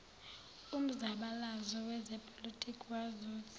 umzabalazo wezepolitiki wazuza